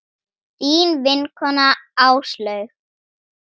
Þín vinkona Áslaug.